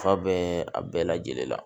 Fa bɛɛ a bɛɛ lajɛlen la